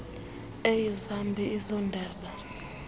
eyi zambi ezondaba